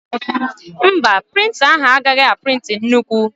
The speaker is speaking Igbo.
Mba, prịnta ahụ agaghị a prịntị nnukwu